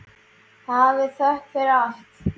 Hafið þökk fyrir allt.